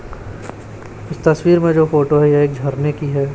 इस तस्वीर में जो फोटो है यह एक झरने की है।